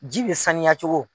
Ji bɛ saniyacogo